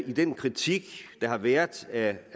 i den kritik der har været af